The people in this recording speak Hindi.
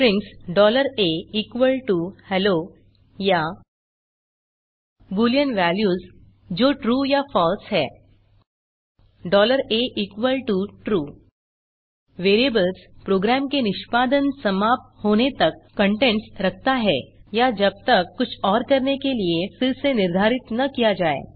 स्ट्रिंग्स ahello या बूलियन वेल्यूज जो ट्रू या फलसे है atrue वेरिएबल्स प्रोग्राम के निष्पादन समाप्त होने तक कंटेन्ट्स रखता है या जब तक कुछ और करने के लिए फिर से निर्धारित न किया जाए